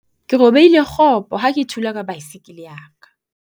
ke robehile kgopo ha ke thula ka baesekele ya ka